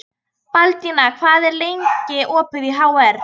Baldína, hvað er lengi opið í HR?